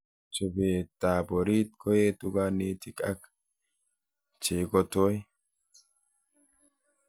Chobetab orit koetu kanetik ak cheikotoi